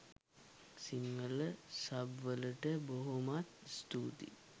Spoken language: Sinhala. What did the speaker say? සිංහල සබ් වලට බොහොමත්ම ස්තූතියි.